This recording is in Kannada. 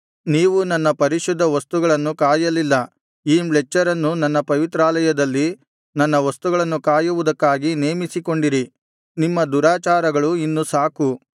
ನೀವು ನನ್ನ ಪರಿಶುದ್ಧ ವಸ್ತುಗಳನ್ನು ಕಾಯಲಿಲ್ಲ ಈ ಮ್ಲೇಚ್ಛರನ್ನು ನನ್ನ ಪವಿತ್ರಾಲಯದಲ್ಲಿ ನನ್ನ ವಸ್ತುಗಳನ್ನು ಕಾಯುವುದಕ್ಕಾಗಿ ನೇಮಿಸಿಕೊಂಡಿರಿ ನಿಮ್ಮ ದುರಾಚಾರಗಳು ಇನ್ನು ಸಾಕು